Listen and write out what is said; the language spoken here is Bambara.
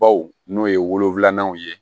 Baw n'o ye wo filanan ye